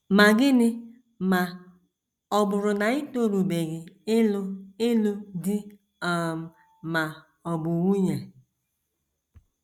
Ma gịnị ma ọ bụrụ na i torubeghị ịlụ ịlụ di um ma ọ bụ nwunye?